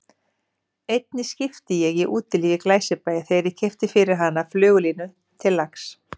Einni skipti ég í Útilífi í Glæsibæ þegar ég keypti fyrir hana flugulínu til lax